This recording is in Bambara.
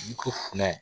I ko funɛ